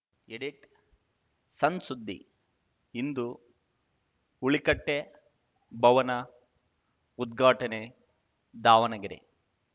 edit ಸಣ್‌ ಸುದ್ದಿ ಇಂದು ಹುಲಿಕಟ್ಟೆಭವನ ಉದ್ಘಾಟನೆ ದಾವಣಗೆರೆ